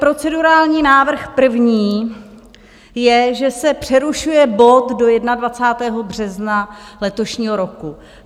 Procedurální návrh první je, že se přerušuje bod do 21. března letošního roku.